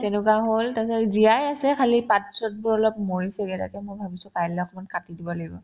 তেনেকুৱা হ'ল তাৰপিছত জীয়াই আছে খালী পাত-চাতবোৰ অলপ মৰিছেগে তাকে মই ভাবিছো কাইলে অকমান কাটি দিব লাগিব